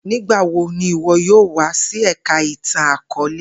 Nigbawo ni iwọ yoo wa si Ẹka Itan-akọọlẹ?